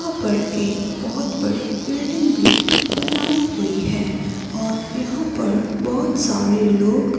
यहां पर एक बहुत बड़ी बिल्डिंग भी बनाई हुई है और यहां पर बहुत सारे लोग--